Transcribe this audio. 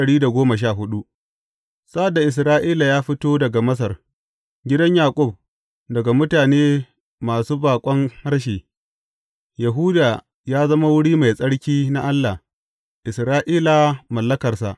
Sa’ad da Isra’ila ya fito daga Masar, gidan Yaƙub daga mutane masu baƙon harshe, Yahuda ya zama wuri mai tsarki na Allah, Isra’ila mallakarsa.